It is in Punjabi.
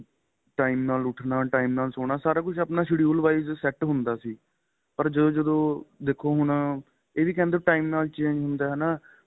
time ਨਾਲ ਉੱਠਣਾ time ਨਾਲ ਸੋਣਾ ਸਾਰਾ ਕੁੱਛ ਆਪਣਾ schedule wise ਸੇਟ ਹੁੰਦਾ ਸੀ ਪਰ ਜਦੋ ਜਦੋ ਦੇਖੋ ਹੁਣ ਐਵੀ ਕਹਿੰਦੇ time ਨਾਲ change ਹੁੰਦਾ ਏ ਹੈਨਾ